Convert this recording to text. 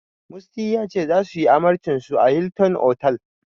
Musty ya ce, zasu yi amarcinsu a Hilton otal.